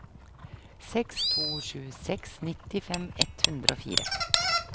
seks to sju seks nittifem ett hundre og fire